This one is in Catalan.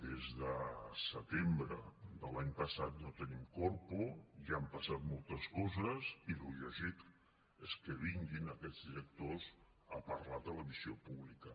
des de setembre de l’any passat no tenim corpo i han passat moltes coses i el lògic és que vinguin aquests directors a parlar de la televisió pública